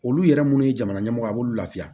Olu yɛrɛ munnu ye jamana ɲɛmɔgɔ ye a b'olu lafiya